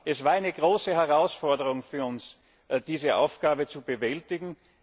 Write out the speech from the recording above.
Es war eine große Herausforderung für uns, diese Aufgabe zu bewältigen.